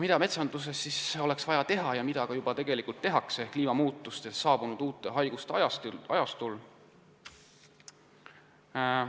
Mida metsanduses oleks vaja teha ja mida tegelikult ka juba tehakse kliimamuutuste tõttu saabunud uute haiguste ajastul?